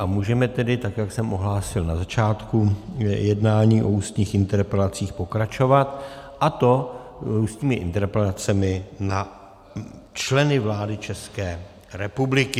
A můžeme tedy, tak jak jsem ohlásil na začátku jednání o ústních interpelacích, pokračovat, a to ústními interpelacemi na členy vlády České republiky.